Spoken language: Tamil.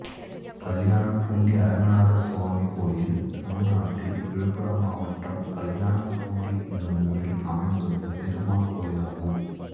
கல்யாணம்பூண்டி அரங்கநாதசுவாமி கோயில் தமிழ்நாட்டில் விழுப்புரம் மாவட்டம் கல்யாணம்பூண்டி என்னும் ஊரில் அமைந்துள்ள பெருமாள் கோயிலாகும்